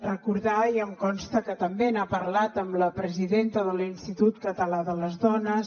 recordar i em consta que també n’ha parlat amb la presidenta de l’institut català de les dones